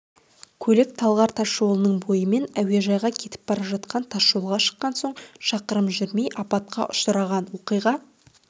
көлік талғар тасжолының бойымен әуежайға кетіп бара жатқан тасжолға шыққан соң шақырым жүрмей апатқа ұшыраған оқиға